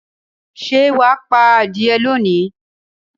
Ṣé wà á pa adìẹ lónìí?